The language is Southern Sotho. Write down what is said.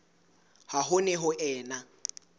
ha ho ne ho ena